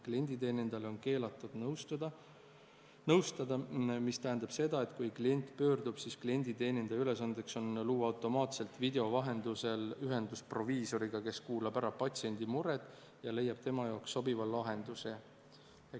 Klienditeenindajal on keelatud nõustada, mis tähendab seda, et kui klient pöördub, siis klienditeenindaja ülesanne on luua automaatselt video vahendusel ühendus proviisoriga, kes kuulab ära patsiendi mured ja leiab tema jaoks sobiva lahenduse.